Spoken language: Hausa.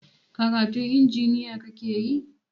Karatun injiniya kakeyi?